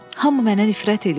Hamı mənə nifrət eləyir.